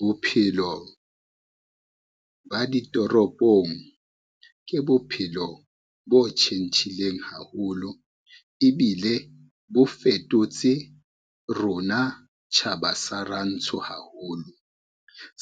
Bophelo, ba ditoropong ke bophelo bo tjhentjhileng haholo, ebile bo fetotse rona tjhaba sa rantsho haholo